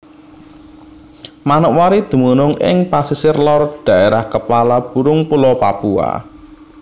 Manokwari dumunung ing pasisir lor Dhaérah Kepala Burung Pulo Papua